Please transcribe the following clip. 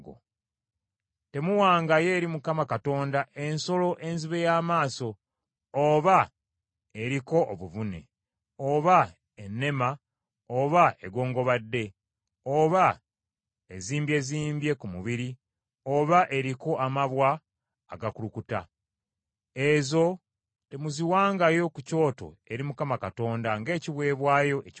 Temuwangayo eri Mukama Katonda ensolo enzibe y’amaaso, oba eriko obuvune, oba ennema oba egongobadde, oba ezimbyezimbye ku mubiri, oba eriko amabwa agakulukuta. Ezo temuziwangayo ku kyoto eri Mukama Katonda ng’ekiweebwayo ekyokebwa.